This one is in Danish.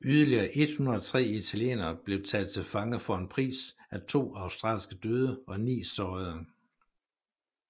Yderligere 103 italienere blev taget til fange for en pris af to australske døde og ni sårede